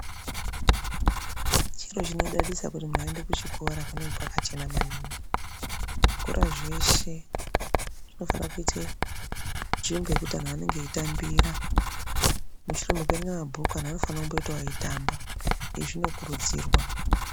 Zviro zvinodadisa kuti muntu eienda kuchikora kunenge kwakachena maningi, zvikora zveshe zvinofana kuite nzvimbo yekuti antu anenge echitambira mushure mekuerenga mabhuku antu anofana kumbitawo eitamba zvinokurudzirwa.